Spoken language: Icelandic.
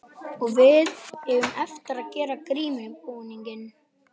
Og við eigum eftir að gera grímubúning.